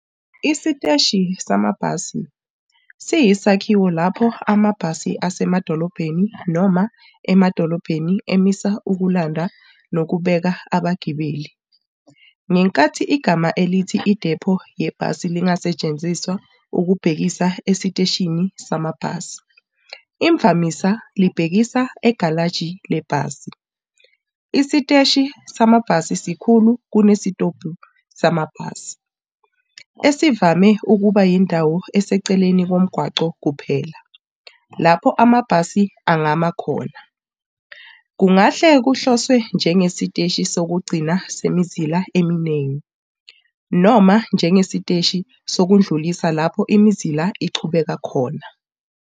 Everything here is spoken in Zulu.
Isiteshi samabhasi siyisakhiwo lapho amabhasi asemadolobheni noma emadolobheni emisa ukulanda nokubeka abagibeli. Ngenkathi igama elithi idepho yebhasi lingasetshenziswa ukubhekisa esiteshini samabhasi, imvamisa libhekisa egalaji lebhasi. Isiteshi samabhasi sikhulu kunesitobhi sebhasi, esivame ukuba yindawo eseceleni komgwaqo kuphela, lapho amabhasi angama khona. Kungahle kuhloswe njengesiteshi sokugcina semizila eminingi, noma njengesiteshi sokudlulisa lapho imizila iqhubeka khona.